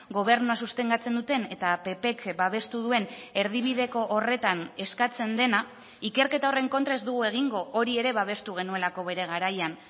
gobernua sostengatzen duten eta ppk babestu duen erdibideko horretan eskatzen dena ikerketa horren kontra ez dugu egingo hori ere babestu genuelako bere garaian